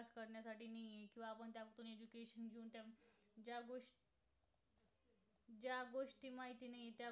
माहिती नाहीये त्या